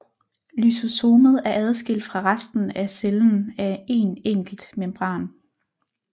Lysosomet er adskilt fra resten af cellen af en enkelt membran